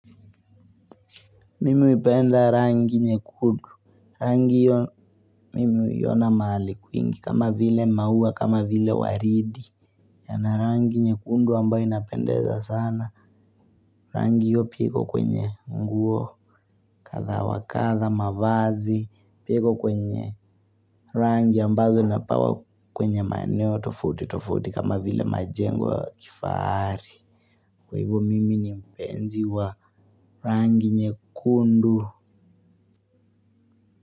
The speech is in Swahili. Mimi huipenda rangi nyekundu. Rangi hiyo mimi huiona mahali kwingi kama vile maua kama vile waridi. Yana rangi nyekundu ambayo inapendeza sana. Rangi hiyo pia iko kwenye nguo. Kadha wa kadha mavazi. Pia iko kwenye. Rangi ambazo napawa kwenye maeneo tofauti tofauti kama vile majengo ya kifahari. Kwa hivyo mimi ni mpenzi wa rangi nyekundu.